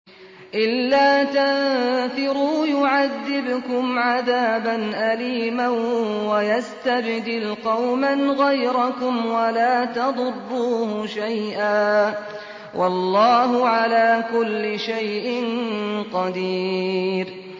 إِلَّا تَنفِرُوا يُعَذِّبْكُمْ عَذَابًا أَلِيمًا وَيَسْتَبْدِلْ قَوْمًا غَيْرَكُمْ وَلَا تَضُرُّوهُ شَيْئًا ۗ وَاللَّهُ عَلَىٰ كُلِّ شَيْءٍ قَدِيرٌ